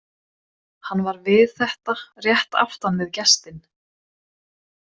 Hann var við þetta rétt aftan við gestinn.